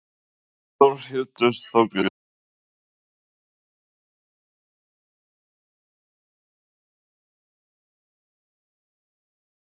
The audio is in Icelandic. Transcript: Þórhildur Þorkelsdóttir: Hvað er skemmtilegast við að vinna hérna í jólaösinni?